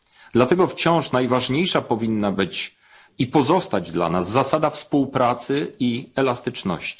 Dlatego wciąż najważniejsza powinna być i pozostać dla nas zasada współpracy i elastyczności.